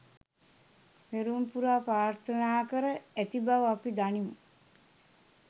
පෙරුම් පුරා ප්‍රාර්ථනා කර ඇති බව අපි දනිමු.